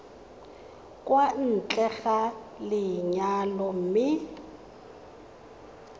kwa ntle ga lenyalo mme